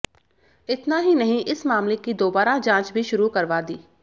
इतना ही नहीं इस मामले की दोबारा जांच भी शुरू करवा दी